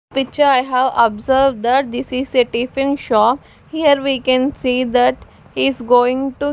Picture i have observed that this is a tiffin shop here we can see that he is going to--